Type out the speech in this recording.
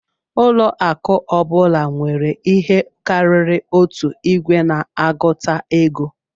Ụlọ akụ ọ bụla nwere ihe karịrị otu igwe na-agụta ego